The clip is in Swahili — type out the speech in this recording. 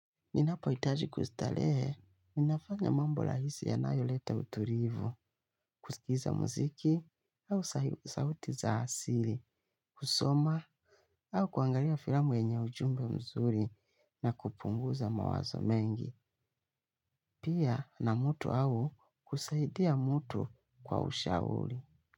Ninapo hitaji kustarehe, ninafanya mambo rahisi yanayo leta utulivu, kusikiza muziki au sauti za asili, kusoma au kuangalia filamu yenye ujumbe mzuri na kupunguza mawazo mengi. Pia na mtu au kusaidia mtu kwa ushauri.